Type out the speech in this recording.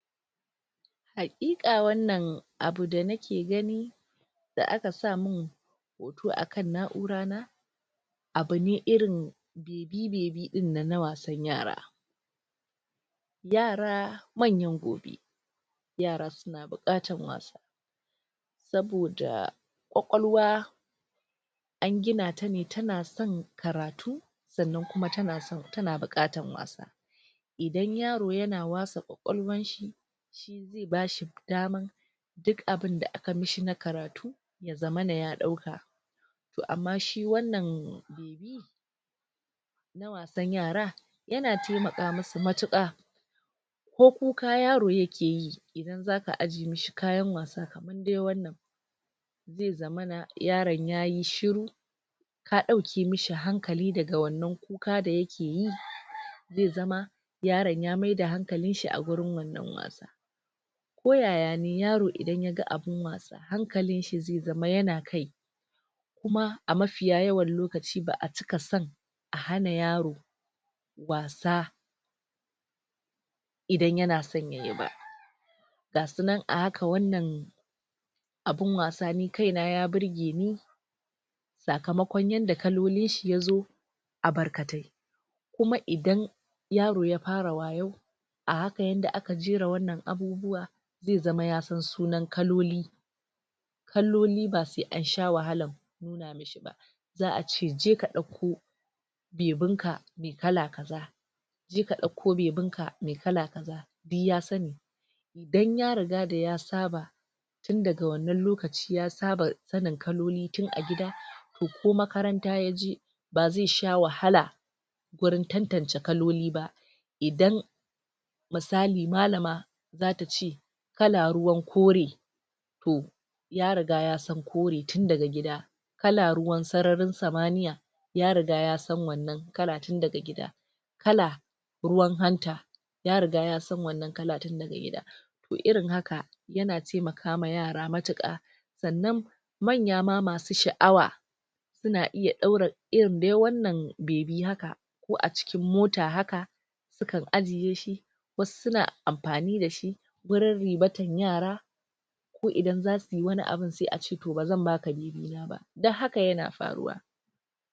Hakika wannan abu da nake gani da aka sa mun toh akan na'ura na abune irin kibebe dinnan na wasan yara yara manyan gobe yara suna bukatan wasa saboda kwakwalwa an gina ta ne tana son karatu sannan kuma tana bukatan wasa idan yaro yana wasa kwakwalwan shi bashi da dama duk abun da aka mishi na karatu ya zamana ya dauka toh amma shi wanna dan yara yana taimaka musu matuka ko kuka yaro yake yi zaka ajiye mishi kayan wasa in dai wanna zai zammana yaron yayi shuru ya dauke mishi hankali da wannan kuka da yake yi zai zama yaron ya mai da hankain shi a wurin wannan wasa ko yaya ne idan yaro ya ga abun wasa, hankalin shi zai zama yana kai kuma a mifiyayawan lokaci ba'a cika son a hana yaro wasa idan yana son yayi ba ga su nan a hakan wannan abun was ni kai na ya burge ni tsakamakon yadda kaloloin shi ya zo a barkate kuma idan yaro ya fara wayo a haka yanda aka jera wannan abubuwa zai zama ya san sunan kalolo kalloli ba sai an sha wahalan za'a ce je ka dauko bebin ka mai kala kaza je ka dauko bebin ka mai kala kaza duk ya sani dan ya riga da ya saba tun daga wannan lokaci, ya saba sanin kalloli tun a gida ko makaranta ya je ba zai sha wahala gurin tantance kaloli ba idan misali, malama za ta ce kala ruwan kori toh ya riga ya san kori tun daga gida kala ruwan tsaranin tsamaniya ya riga ya san wannan karatu tun daga gida kala ruwan hanta ya riga ya san wannan kala tun daga gida irin haka yana taimaka wa yara matuka tsannan manya ma masu sha'awa suna iya doura irin dai wannan bebi haka ko a cikin mota haka sukan ajiye shi wasu suna amfani da shi gurin rimatan yara ko idan za suyi wani abu sai a ce toh ba zan baka bebi na ba